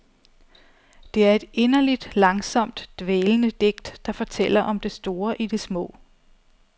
Det er et inderligt, langsomt dvælende digt, der fortæller om det store i det små.